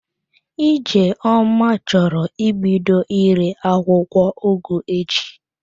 Ijeoma choro ibido ire akwụkwọ ugu echi.